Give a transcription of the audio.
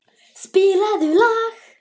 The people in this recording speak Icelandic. Benedikta, spilaðu lag.